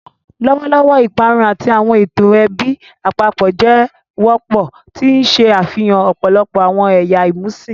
Lọwọlọwọ, iparun ati awọn eto ẹbi apapọ jẹ wọpọ, ti n ṣe afihan ọpọlọpọ awọn ẹya imusin.